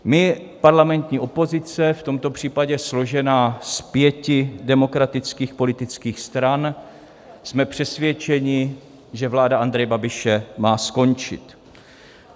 My, parlamentní opozice, v tomto případě složená z pěti demokratických politických stran, jsme přesvědčeni, že vláda Andreje Babiše má skončit.